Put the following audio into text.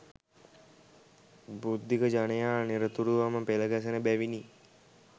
බුද්ධික ජනයා නිරතුරුවම පෙළගැසෙන බැවිනි